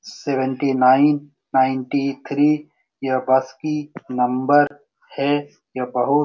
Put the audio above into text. seventy nine ninety three यह bus की number हैं यह बहुत --